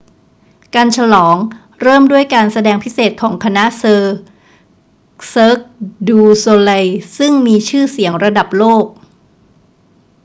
การฉลองเริ่มด้วยการแสดงพิเศษของคณะ cirque du soleil ซึ่งมีชื่อเสียงระดับโลก